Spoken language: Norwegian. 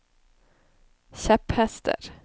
kjepphester